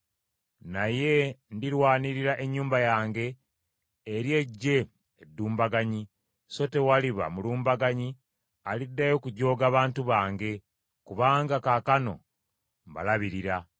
Naye ndirwanirira ennyumba yange eri eggye eddumbaganyi, so tewaliba mulumbaganyi aliddayo kujooga bantu bange kubanga kaakano mbalabirira.